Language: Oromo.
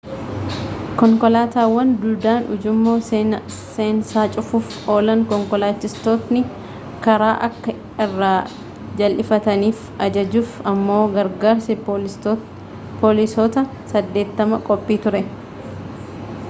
konkolaataawwan duudaan ujummoo seensaa cuufuuf oolan konkolaachistoonni karaa akka irraa jal'ifataniif ajajuuf ammoo gargaarsi poolisoota 80 qophii ture